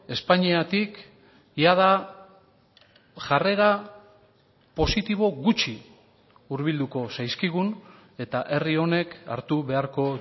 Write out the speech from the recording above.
espainiatik jada jarrera positibo gutxi hurbilduko zaizkigun eta herri honek hartu beharko